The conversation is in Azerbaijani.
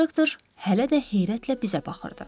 İnsektor hələ də heyrətlə bizə baxırdı.